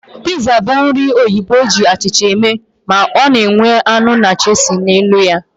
Piza bụ nri ndị oyibo eji achịcha eme, ma ọ na enwe anụ na cheese na elu ya